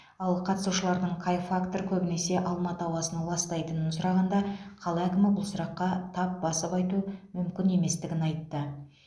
ал қатысушылардың қай фактор көбінесе алматы ауасын ластайтынын сұрағанда қала әкімі бұл сұраққа тап басып айту мүмкін еместігін айтты